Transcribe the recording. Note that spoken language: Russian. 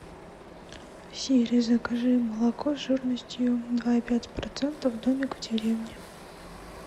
сири закажи молоко жирностью два и пять процентов домик в деревне